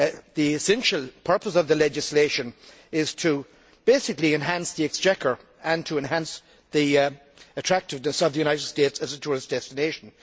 The essential purpose of the legislation is basically to enhance the exchequer and to enhance the attractiveness of the United States as a tourist destination.